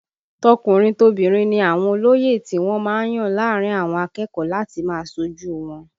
Tọkùnrin tobìnrin ni àwọn olóyè tí wọ́n má ń yàn láàrin àwọn akẹ́kọ̀ọ́ láti máa ṣojú u wọn